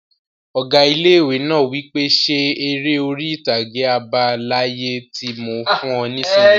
Ọgá ilé-ìwé náà wí pé 'Ṣe eré orí-ìtàgé àbá láyé tí mo fún ọ nisinyi!